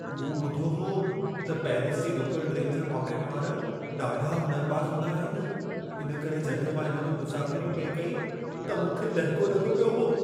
मूं ॿुधो हो त पैरिस जी लोकल ट्रैन जा पाकेटमार ॾाढा हुनुरबाज़ हूंदा आहिनि। इन करे जॾहिं मां इन में मुसाफ़िरी पिए कई, त मूंखे दहिको लॻो पियो हो।